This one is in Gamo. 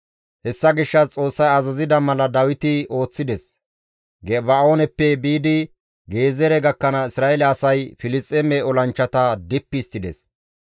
Hessa gishshas Xoossay azazida mala Dawiti ooththides. Geba7ooneppe biidi Gezeere gakkanaas Isra7eele asay Filisxeeme olanchchata dippi histtides.